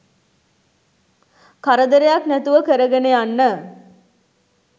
කරදරයක් නැතුව කරගෙන යන්න